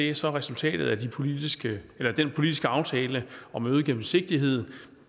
er så resultatet af den politiske aftale om øget gennemsigtighed